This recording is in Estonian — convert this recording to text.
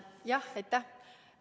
Aitäh!